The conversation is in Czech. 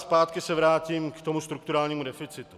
Zpátky se vrátím k tomu strukturálními deficitu.